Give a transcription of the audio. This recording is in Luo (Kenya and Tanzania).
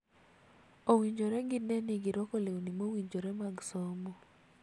Owinjore gine ni girwako lewni mowinjore mag somo.